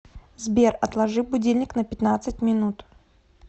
сбер отложи будильник на пятнадцать минут